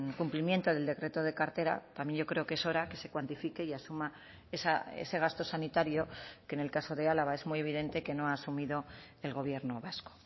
cumplimiento del decreto de cartera también yo creo que es hora que se cuantifique y asuma ese gasto sanitario que en el caso de álava es muy evidente que no ha asumido el gobierno vasco